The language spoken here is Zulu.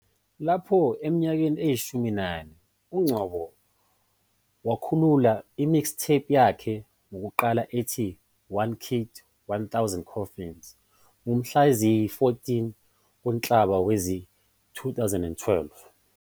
Lapho eneminyaka eyishumi nane, uNgcobo wakhulula i- mixtape yakhe yokuqala ethi "One Kid, A Thousand Coffins" ngomhla ziyi-14 kuNhlaba wezi-2012.